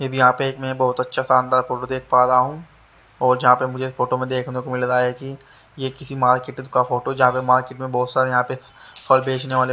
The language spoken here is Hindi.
मै भी यहां पे मैं बहोत अच्छा शानदार फोटो देख पा रहा हूं और जहां पे मुझे फोटो में देखने को मिल रहा है कि ये किसी मार्केट का फोटो जहां पर मार्केट में बहुत सारे यहां पे फल बेचने वाले--